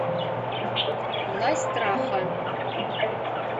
власть страха